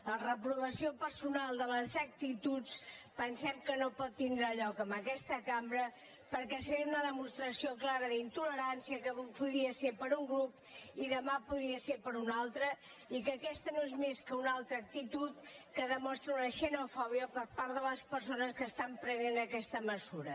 la reprovació personal de les actituds pensem que no pot tindre lloc en aquesta cambra perquè seria una demostració clara d’intolerància que avui podria ser per un grup i demà podria per un altre i que aquesta no és més que una altra actitud que demostra una xenofòbia per part de les persones que estan prenent aquesta mesura